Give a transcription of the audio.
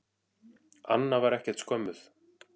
Anna var ekkert skömmuð.